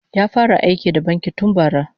Ya fara aiki da banki tun bara